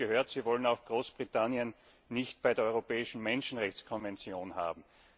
Jetzt habe ich gehört, Sie wollen Großbritannien auch nicht bei der Europäischen Menschenrechtskonvention haben.